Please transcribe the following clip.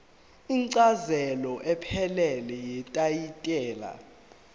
incazelo ephelele yetayitela